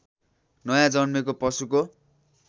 नयाँ जन्मेको पशुको